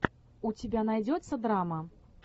у тебя найдется драма